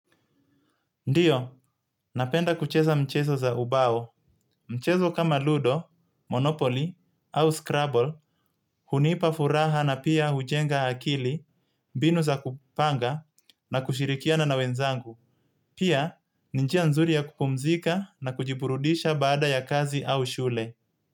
Ndiyo, napenda kucheza mchezo za ubao. Mchezo kama Ludo, Monopoly au Scrabble hunipa furaha na pia hujenga akili mbinu za kupanga na kushirikiana na wenzangu. Pia, ni njia nzuri ya kupumzika na kujiburudisha baada ya kazi au shule.